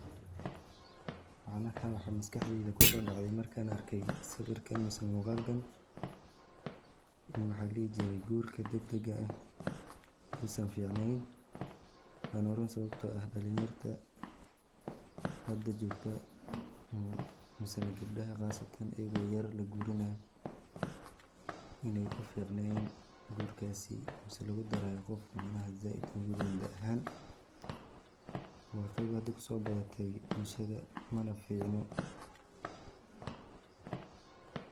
Waxan arka waxaa maskaxdey kuso dhacday markan arkan arkay sawirkan mise muqalkan ini maxa ladhihi jiray gurka degdega ah Usan ficneyn, wana run sababto eh dhalin yarta hada jogta mise gebdhaha qasatan ayago yar la guurinayo inay uficneyn guuraasi misena lugu darayo qof zaaid oga weyn da ahan, waa qeb hada kuso badatey bulshada mana ficno